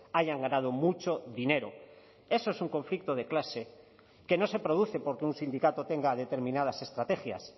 hayan ganado mucho dinero eso es un conflicto de clase que no se produce porque un sindicato tenga determinadas estrategias